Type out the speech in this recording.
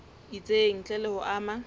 itseng ntle le ho ama